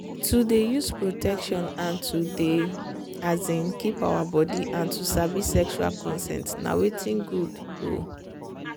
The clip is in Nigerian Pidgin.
to dey use protection and to dey um keep our body and to sabi sexual consent na watin good. um